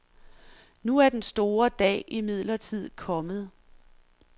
Nu er den store dag imidlertid kommet.